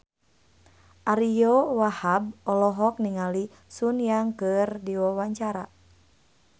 Ariyo Wahab olohok ningali Sun Yang keur diwawancara